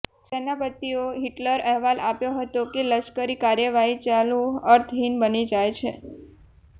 સેનાપતિઓ Hitler અહેવાલ આપ્યો હતો કે લશ્કરી કાર્યવાહી ચાલુ અર્થહીન બની જાય છે